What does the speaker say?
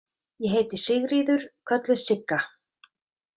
Ég heiti Sigríður, kölluð Sigga